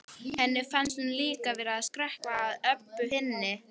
Henni fannst hún líka vera að skrökva að Öbbu hinni.